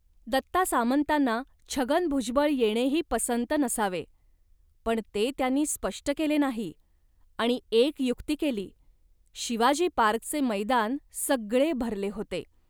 दत्ता सामंतांना छगन भुजबळ येणेही पंसत नसावे, पण ते त्यांनी स्पष्ट केले नाही आणि एक युक्ती केली. शिवाजी पार्कचे मैदान सगळे भरले होते